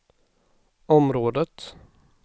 området